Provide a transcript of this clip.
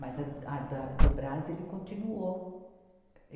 Mas a, a da, do Brás, ele continuou.